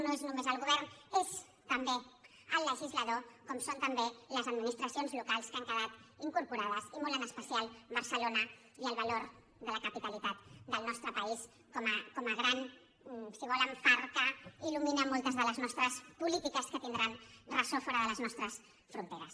no és només el govern és també el legislador com ho són també les administracions locals que hi han quedat incorporades i molt en especial barcelona i el valor de la capitalitat del nostre país com a gran si volen far que ilmoltes de les nostres polítiques que tindran ressò fora de les nostres fronteres